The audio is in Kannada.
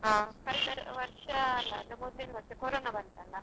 ಕಳೆದ ವರ್ಷ ಮೊದಲಿನ ವರ್ಷ ಕೊರೋನಾ ಬಂತಲ್ಲ.